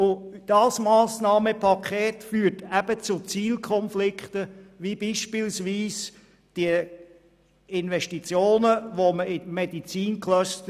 Dieses Massnahmenpaket führt zu Zielkonflikten wie beispielsweise nicht mehr getätigte Investitionen in Medizincluster.